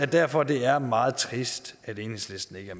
derfor det er meget trist at enhedslisten ikke